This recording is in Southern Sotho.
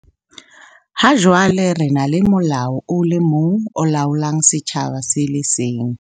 Ha jwale re na le molao o le mong o laolang setjhaba se le seng.